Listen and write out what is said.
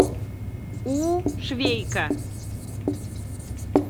у швейка